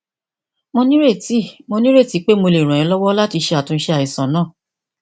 mo nírètí mo nírètí pé mo lè ràn ẹ lọwọ láti ṣàtúnṣe àìsàn náà